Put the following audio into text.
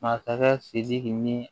Masakɛ sidiki ni